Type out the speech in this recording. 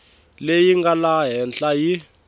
leyi nga laha henhla yi